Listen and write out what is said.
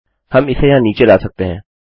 हम इसे यहाँ नीचे ला सकते हैं